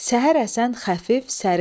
Səhər əsən xəfif, sərin yel.